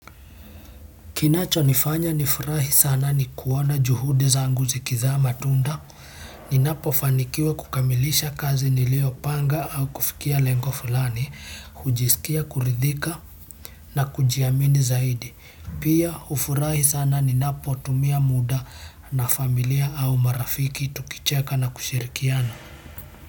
Kinachonifanya nifurahi sana ni kuona juhudi zangu zikizaa matunda ninapofanikiwa kukamilisha kazi niliopanga au kufikia lengo fulani, hujisikia kuridhika na kujiamini zaidi. Pia hufurahi sana ninapotumia muda na familia au marafiki tukicheka na kushirikiana.